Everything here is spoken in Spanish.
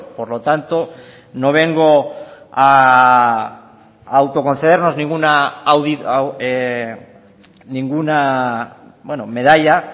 por lo tanto no vengo a autoconcedernos ninguna medalla